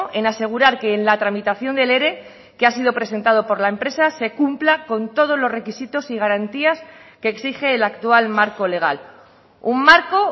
en asegurar que en la tramitación del ere que ha sido presentado por la empresa se cumpla con todos los requisitos y garantías que exige el actual marco legal un marco